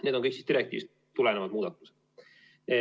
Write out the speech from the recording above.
Need on kõik direktiivist tulenevad muudatused.